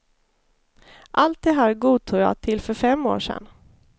Allt det här godtog jag till för fem år sedan.